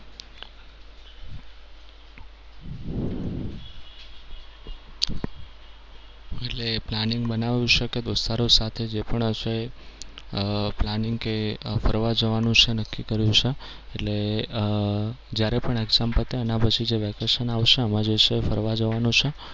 એટલે planning બનાવ્યું છે કે દોસ્તરો સાથે જે પણ હશે અમ planning કે ફરવા જવાનો એ ફરવા જવાનું જે છે એ નક્કી કર્યું છે. એટલે અમ જ્યારે પણ exam પતે એના પછી જે vacation આવશે એમાં જે છે એ ફરવા જવાનું છે.